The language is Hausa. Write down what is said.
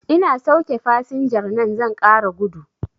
Ina sauke fasinjar nan zan ƙara gudu